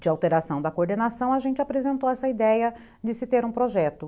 de alteração da coordenação, a gente apresentou essa ideia de se ter um projeto.